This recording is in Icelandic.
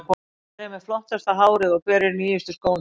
Hver er með flottasta hárið og hver er í nýjustu skónum?